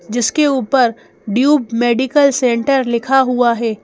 जिसके ऊपर Dube medical centre लिखा हुआ है।